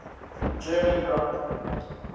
german grand prix